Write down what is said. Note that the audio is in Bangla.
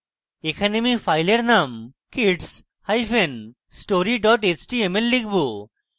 এখানে আমি file name kidsstory html লিখব